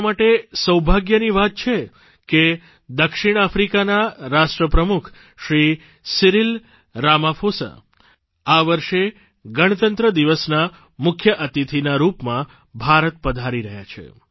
આપણા માટે સૌભાગ્યની વાત છે કે દક્ષિણ આફ્રિકાના રાષ્ટ્રપ્રમુખશ્રી સિરિલ રામાફોસા વર્ષે ગણતંત્ર દિવસના મુખ્ય અતિથિના રૂપમાં ભારત પધારી રહ્યા છે